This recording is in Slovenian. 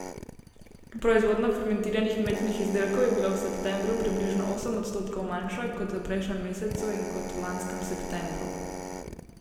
Proizvodnja fermentiranih mlečnih izdelkov je bila v septembru približno osem odstotkov manjša kot v prejšnjem mesecu in kot v lanskem septembru.